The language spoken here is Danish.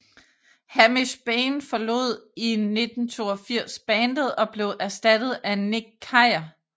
Hamish Bayne forlod i 1982 bandet og blev erstattet af Nick Keir